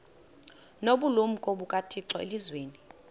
nobulumko bukathixo elizwini